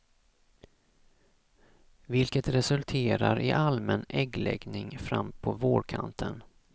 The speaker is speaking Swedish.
Vilket resulterar i allmän äggläggning fram på vårkanten.